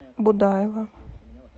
будаева